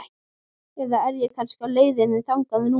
Eða er ég kannski á leiðinni þangað núna?